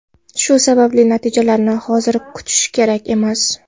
Shu sababli natijalarni hozir kutish kerak emas.